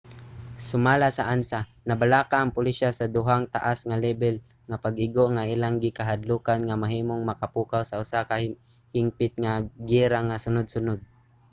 sumala sa ansa nabalaka ang pulisya sa duhang taas nga lebel nga pag-igo nga ilang gikahadlokan nga mahimong makapukaw sa usa ka hingpit nga giyera nga sunud-sunod